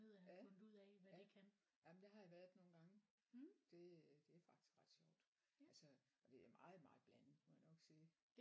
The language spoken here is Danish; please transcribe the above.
Ja ja jamen der har jeg været nogle gange det det er faktisk ret sjovt altså og det er meget meget blandet må jeg nok sige